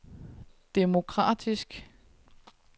demokratisk